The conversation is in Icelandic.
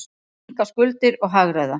Minnka skuldir og hagræða.